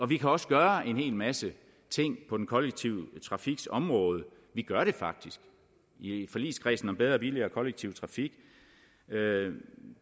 vi kan også gøre en hel masse ting på den kollektive trafiks område vi gør det faktisk i forligskredsen om bedre og billigere kollektiv trafik